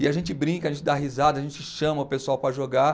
E a gente brinca, a gente dá risada, a gente chama o pessoal para jogar.